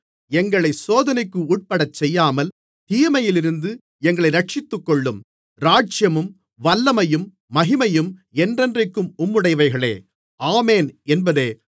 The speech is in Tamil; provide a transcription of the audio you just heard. எங்களைச் சோதனைக்குட்படச் செய்யாமல் தீமையிலிருந்து எங்களை இரட்சித்துக்கொள்ளும் ராஜ்யமும் வல்லமையும் மகிமையும் என்றென்றைக்கும் உம்முடையவைகளே ஆமென் என்பதே